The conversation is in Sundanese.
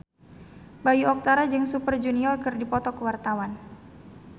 Bayu Octara jeung Super Junior keur dipoto ku wartawan